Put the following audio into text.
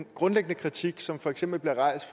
grundlæggende kritik som for eksempel er rejst